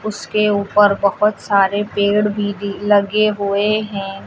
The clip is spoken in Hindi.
उसके ऊपर बहोत सारे पेड़ भी दी लगे हुए हैं।